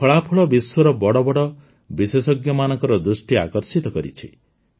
ଏହି ଫଳାଫଳ ବିଶ୍ୱର ବଡ଼ ବଡ଼ ବିଶେଷଜ୍ଞମାନଙ୍କ ଦୃଷ୍ଟି ଆକର୍ଷିତ କରିଛି